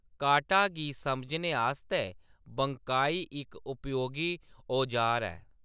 काटा गी समझने आस्तै बंकाई इक उपयोगी औजार ऐ।